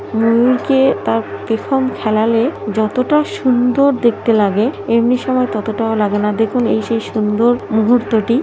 ময়ুর কে তার পেখম ফেলালে যতটা সুন্দর দেখতে লাগে এমনি সময় ততটাও লাগে না দেখুন এই সেই সুন্দর মুহূর্তটি।